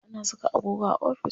Ana saka agogo a ofis.